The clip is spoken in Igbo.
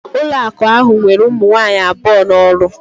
Ụlọakụ ahụ were ụmụ nwaanyị abụọ n'ọrụ